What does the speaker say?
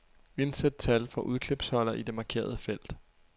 Indsæt tal fra udklipsholder i det markerede felt.